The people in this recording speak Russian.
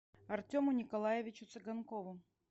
артему николаевичу цыганкову